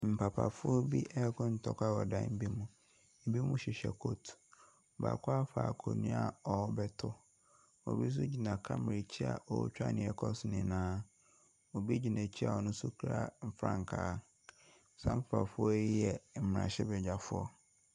Papafoɔ bi reko ntɔkwa wɔ dan bi mu. Binom hyehyɛ coat. Baako afa akonnwa a ɔrebɛto. Obi nso gyina camera akyi a ɔretwa deɛ ɛrekɔ so nyinaa. Obi gyina akyire a ɔno nso kura frankaa. Saa nkurɔfoɔ yi yɛ mmarahyɛbadwafoɔ.